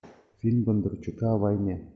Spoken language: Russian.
фильм бондарчука о войне